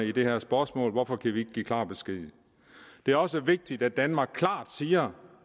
i det her spørgsmål hvorfor kan vi ikke give klar besked det er også vigtigt at danmark klart siger